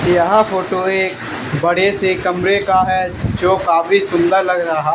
यहां फोटो एक बड़े से कमरे का है जो काफी सुंदर लग रहा--